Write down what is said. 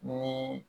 Ni